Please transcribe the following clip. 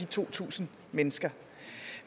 to tusind mennesker